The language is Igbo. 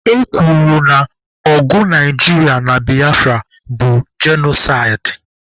E kwuru na ọgụ Naijiria na Biafra bụ genosaịdị.